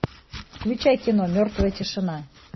включай кино мертвая тишина